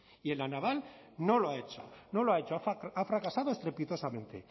y en la naval no lo ha hecho no lo ha hecho ha fracasado estrepitosamente